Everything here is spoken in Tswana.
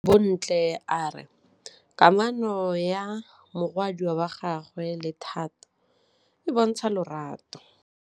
Bontle a re kamanô ya morwadi wa gagwe le Thato e bontsha lerato.